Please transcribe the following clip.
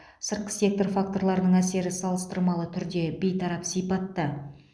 сыртқы сектор факторларының әсері салыстырмалы түрде бейтарап сипатта